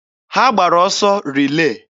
Ha gbara ọsọ rilee.